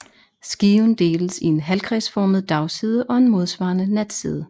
Skiven deles i en halvkredsformet dagside og en modsvarende natside